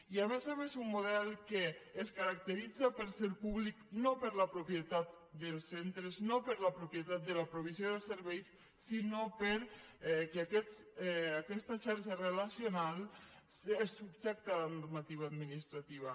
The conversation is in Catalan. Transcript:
i a més a més un model que es caracteritza per ser públic no per la propietat dels centres no per la propietat de la provisió de serveis sinó perquè aquesta xarxa relacional és subjecta a la normativa administrativa